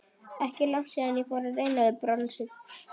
Ekki er langt síðan ég fór að reyna við bronsið.